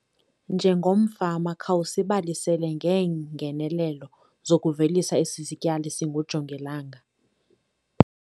Njengomfama khawusibalisele ngeengenelelo zokuvelisa esi sityalo singujongilanga.